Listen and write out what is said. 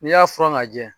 N'i y'a furan ka lajɛ